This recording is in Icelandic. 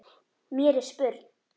Mér er spurn.